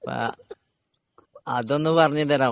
അതൊന്നു പറഞ്ഞുതരാമോ